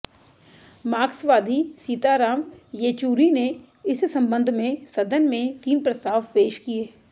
माक्र्सवादी सीताराम येचुरी ने इस संबंध में सदन में तीन प्रस्ताव पेश किए